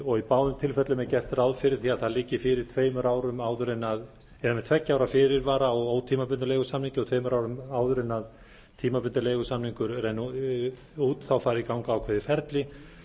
og í báðum tilfellum er gert ráð fyrir því að það liggi fyrir með tveggja ára fyrirvara á ótímabundnum leigusamningi og tveimur árum áður en tímabundinn leigusamningur rennur út fari í gang ákveðið ferli